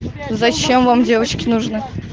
зачем вам девочки нужны